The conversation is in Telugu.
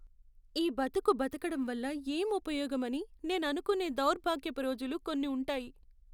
ఈ బతుకు బతకడం వల్ల ఏం ఉపయోగం అని నేను అనుకునే దౌర్భాగ్యపు రోజులు కొన్ని ఉంటాయి.